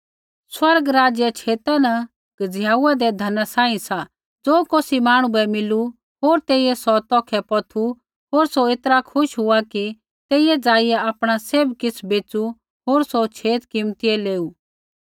स्वर्ग राज्य छेता न गज़िहाउदै धना सांही सा ज़ो कौसी मांहणु बै मिलू होर तेइयै सौ तौखै पौथू होर सौ ऐतरा खुश हुआ कि तेइयै ज़ाइआ आपणा सैभ किछ़ बैच़ू होर सौ छेत कीमतियै लेऊ